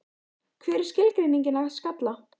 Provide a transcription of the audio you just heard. Hver er skilgreiningin að skalla?